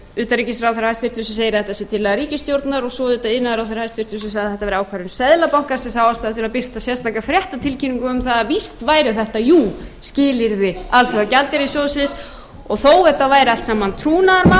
utanríkisráðherra hæstvirtur sem segir að þetta sé tillaga ríkisstjórnar og svo auðvitað iðnaðarráðherra hæstvirts sem sagði að þetta væri ákvörðun seðlabankans en þá ætluðu þeir sér að birta sérstaka fréttatilkynningu um það að víst væri þetta jú skilyrði alþjóðagjaldeyrissjóðsins og þó þetta væri allt saman trúnaðarmál